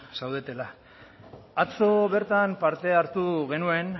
zaudetela atzo bertan parte hartu genuen